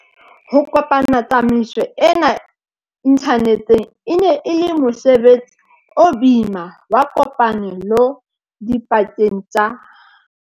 Ho kopanya tsamaiso ena inthaneteng e ne e le mose betsi o boima wa kopane lo dipakeng tsa